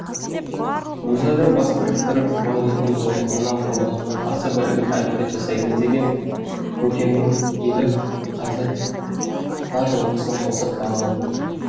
өзара бас біріктіріп жуан елдің зорлығына қорлығына қарсы бірігіп әрекет жасаймыз деген көкеннің елі қазір бар жылқысын қосып бағатын